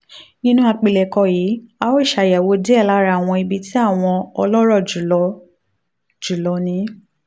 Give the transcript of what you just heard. nínú àpilẹ̀kọ yìí a óò ṣàyẹ̀wò díẹ̀ lára àwọn ibi tí àwọn ọlọ́rọ̀ jù lọ jù lọ ní